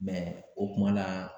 o kuma la